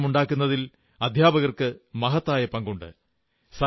പരിവർത്തനമുണ്ടാക്കുന്നതിൽ അധ്യാപകർക്ക് മഹത്തായ പങ്കുണ്ട്